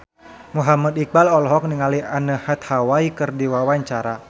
Muhammad Iqbal olohok ningali Anne Hathaway keur diwawancara